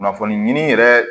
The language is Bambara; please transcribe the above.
Kunnafoni ɲini yɛrɛ